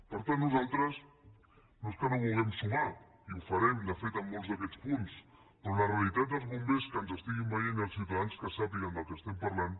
per tant nosaltres no és que no vulguem sumar i ho farem de fet en molts d’aquests punts però la realitat dels bombers que ens estiguin veient i els ciutadans que sàpiguen del que estem parlant